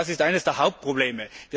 Das ist eines der Hauptprobleme.